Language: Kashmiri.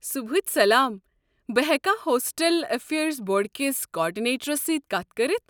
صٗبحچ سلام، بہٕ ہٮ۪کا ہوسٹل افیرز بورڈٕ کس کارڈِنیٹرس سۭتۍ کتھ کٔرتھ؟